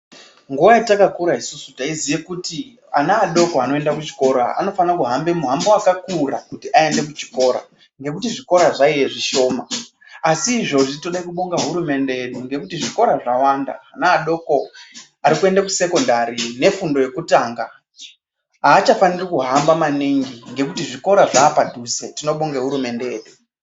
Nguwa yatakakura isusu taizive kuti ana adoko anoenda kuchikora anofana kuhambe muhambo wakakura kuti aende kuchikora nekuti zvikora zvaive zvishoma asi izvozvi tode kubonga hurumende yedu ngekuti zvikora zvawanda ana adoko ari kuende kusekondari nefundo yekutanga achafaniri kuhamba maningi nekuti zvikora zvaapadhuze tinobonge hurumende yedu.